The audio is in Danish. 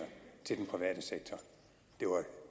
til den private sektor